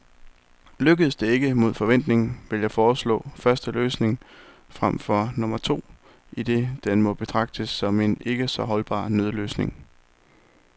Lykkes det ikke, mod forventning, vil jeg foreslå første løsning fremfor nummer to, idet den må betragtes som en ikke så holdbar nødløsning.